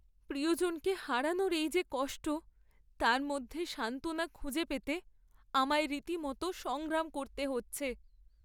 প্রিয়জনকে হারানোর এই যে কষ্ট, তার মধ্যে সান্ত্বনা খুঁজে পেতে আমায় রীতিমত সংগ্রাম করতে হচ্ছে।